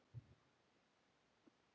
Þín, Heba.